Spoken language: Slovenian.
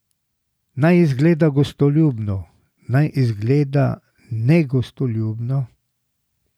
Naj izgleda gostoljubno, naj izgleda negostoljubno?